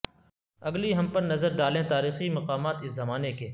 اگلی ہم پر نظر ڈالیں تاریخی مقامات اس زمانے کے